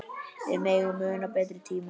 Við megum muna betri tíma.